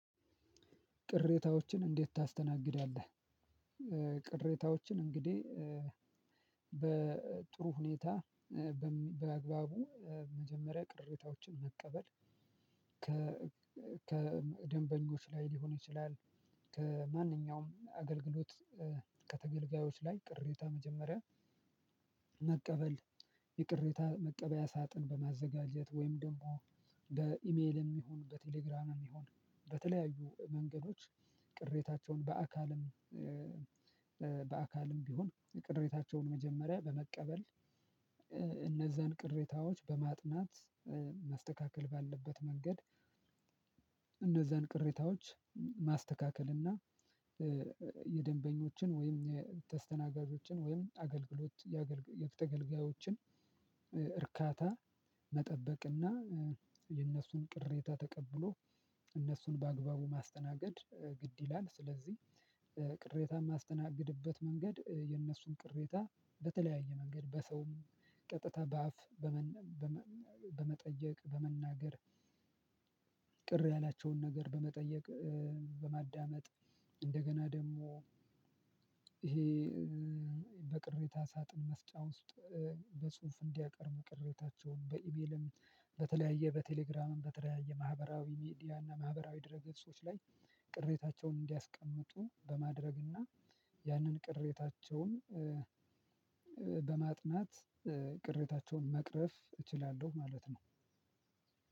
ቅሬታዎችን እንዴት ታስተናግዳለህ? ቅሬታዎችን እንግዲህ በጥሩ ሁኔታ በአግባቡ መጀመሪያ ቅሬታዎችን መቀበል ከደንበኞች ላይ ሊሆን ይችላል። ከማንኛውም አገልግሎት ከተገልጋዮች ላይ ቅሬታ መጀመሪያ መቀበል የቅሬታ መቀበያ ሳጥን በማዘጋጀት ወይም ደግሞ በኢሜልም ይሁን በቴሌግራምም ይሁን በተለያዩ መንገዶች ቅሬታቸውን በአካልም በአካልም ቢሆን የቅሬታቸውን መጀመሪያ በመቀበል እነዛን ቅሬታዎች በማጥናት መስተካከል ባለበት መንገድ። እነዛን ቅሬታዎች ማስተካከል እና የደንበኞችን ወይም ተስተናጋጆችን ወይም አገልግሎት የአገልግሎት ተገልጋዮችን እርካታ መጠበቅና የእነሱን ቅሬታ ተቀብሎ እነሱን በአግባቡ ማስተናገድ ግድ ይላል። ስለዚህ ቅሬታ የማስተናግድበት መንገድ የእነሱን ቅሬታ በተለያየ መንገድ በሰውም ቀጥታ በአፍ በመጠየቅ በመናገር። ቅር ያላቸውን ነገር በመጠየቅ በማዳመጥ እንደገና ደግሞ ይሄ በቅሬታ ሳጥን መስጫ ውስጥ በጽሁፍ እንዲያቀርቡ ቅሬታቸውን በኢሜልም በተለያየ በቴሌግራምም በተለያየ ማህበራዊ ሚዲያ እና ማህበራዊ ድህረገፆች ላይ ቅሬታቸውን እንዲያስቀምጡ በማድረግና ያንን ቅሬታቸውን በማጥናት ቅሬታቸውን መቅረፍ እችላለሁ። ማለት ነው